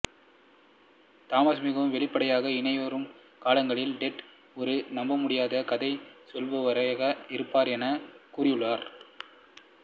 Thomas மிகவும் வெளிப்படையாக இனிவரும் காலங்களில் டெட் ஒரு நம்பமுடியாத கதை சொல்பவராக இருப்பார் என்று கூறியுள்ளார்